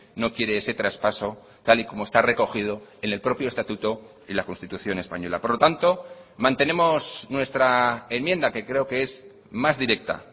no quiere ese traspaso tal y como está recogido en el propio estatuto y la constitución española por lo tanto mantenemos nuestra enmienda que creo que es más directa